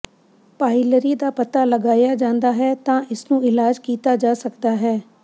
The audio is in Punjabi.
ਪਾਇਲਰੀ ਦਾ ਪਤਾ ਲਗਾਇਆ ਜਾਂਦਾ ਹੈ ਤਾਂ ਇਸਨੂੰ ਇਲਾਜ ਕੀਤਾ ਜਾ ਸਕਦਾ ਹੈ